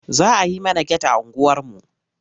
Za a yi mana get a unguwarmu.